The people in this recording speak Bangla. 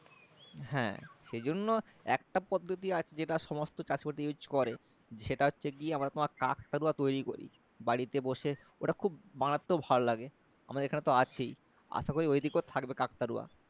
হ্যাঁ সেই জন্য একটা পদ্বতি আছে যেটা সমস্ত চাষীভাই use করে সেটা হচ্ছে গিয়ে আমরা তোমার কাকতাড়ুয়া তৈরি করি বাড়িতে বসে ওটা খুব বানাতেও ভালো লাগে আমাদের এখানে তো আছেই আশা করি ওইদিকেও থাকবে কাকতাড়ুয়া